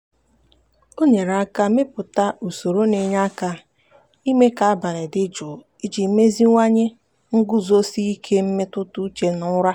o nyere aka mepụta usoro na-enye aka ime ka abalị dị jụụ iji meziwanye nguzosi ike mmetụtauche na ụra.